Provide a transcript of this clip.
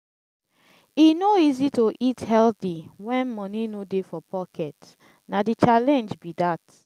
e no easy to eat healthy wen money no dey for pocket; na di challenge be dat.